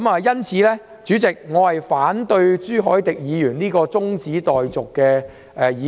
因此，代理主席，我反對朱凱廸議員提出的中止待續議案。